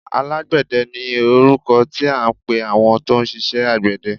Alágbẹ̀dẹ ni orúkọ tí à ń pẹ àwọn tó ń ṣiṣẹ àgbẹ̀dẹ.